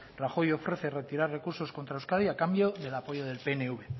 rajoy ofrece retirar recursos contra euskadi a cambio del apoyo del pnv